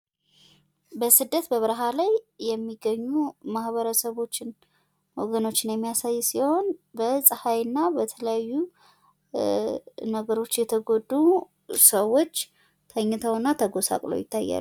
በስደት በብርሃ ላይ የሚገኙ ማህበረሰቦችን ወገኖችን የሚያሳይ ሲሆን በፀሃይና በተለያዩ ነገሮች የተጎዱ ሰዎች ተኝተውና ተጎሳቅለው ይታያሉ።